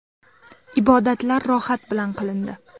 Ibodatlar rohat bilan qilindi.